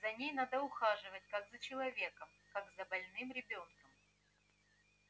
за ней надо ухаживать как за человеком как за больным ребёнком